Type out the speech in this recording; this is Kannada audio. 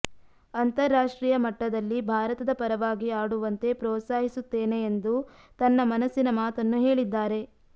ಅಂತಾರಾಷ್ಟ್ರೀಯ ಮಟ್ಟದಲ್ಲಿ ಭಾರತದ ಪರವಾಗಿ ಆಡುವಂತೆ ಪ್ರೋತ್ಸಾಹಿಸುತ್ತೇನೆ ಎಂದು ತನ್ನ ಮನಸ್ಸಿನ ಮಾತನ್ನು ಹೇಳಿದ್ದಾರೆ